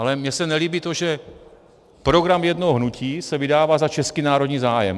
Ale mně se nelíbí to, že program jednoho hnutí se vydává za český národní zájem...